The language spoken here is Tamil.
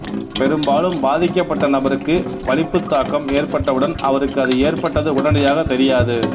பெரும்பாலும் பாதிக்கப்பட்ட நபருக்கு வலிப்புத்தாக்கம் ஏற்பட்டவுடன் அவருக்கு அது ஏற்பட்டது உடனடியாகத் தெரியாது